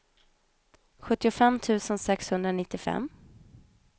sjuttiofem tusen sexhundranittiofem